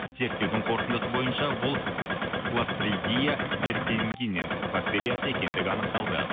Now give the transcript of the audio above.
зерттеудің қорытындысы бойынша бұл бактериясы екендігі анықталды